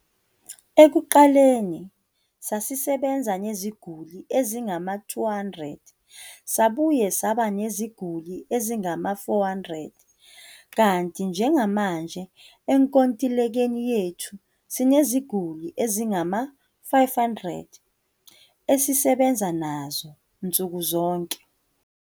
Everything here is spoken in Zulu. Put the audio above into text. Ekuqaleni sasisebenza neziguli ezingama-200, sabuye saba neziguli ezingama-400, kanti njengamanje enkontilekeni yethu sineziguli ezingama-500, esisebenza nazo nsuku zonke.